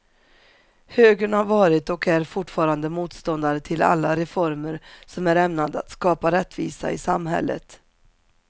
Högern har varit och är fortfarande motståndare till alla reformer som är ämnade att skapa rättvisa i samhället.